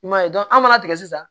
I m'a ye an mana tigɛ sisan